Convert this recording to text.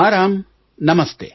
ಹಾಂ ರಾಮ್ ನಮಸ್ತೆ